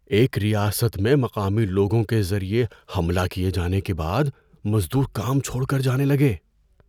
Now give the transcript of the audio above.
ایک ریاست میں مقامی لوگوں کے ذریعے حملہ کیے جانے کے بعد مزدور کام چھوڑ کر جانے لگے۔